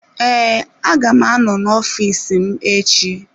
Ee, a ga m anọ n'ọfịs m echi.